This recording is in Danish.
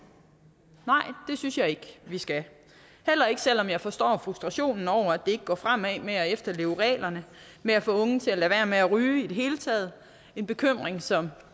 synes jeg ikke vi skal heller ikke selv om jeg forstår frustrationen over at det ikke går fremad med at efterleve reglerne med at få unge til at lade være med at ryge i det hele taget en bekymring som